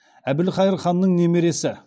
әбілқайыр ханның немересі